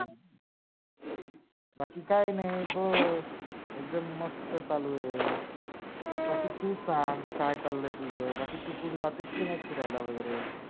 बाकी काय नाही, बस. एकदम मस्त चालू आहे. हम्म बाकी तू संग काय चाललय तुझ बाकी तू कुठ जातेस की नाही फिरायला वैगेरे?